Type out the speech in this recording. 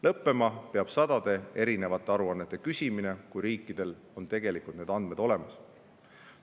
Lõppema peab sadade erinevate aruannete küsimine, kui riikidel on need andmed tegelikult olemas.